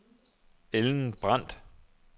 Ellen Brandt